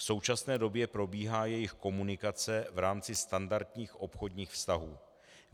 V současné době probíhá jejich komunikace v rámci standardních obchodních vztahů.